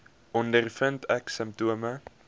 ondervind ek simptome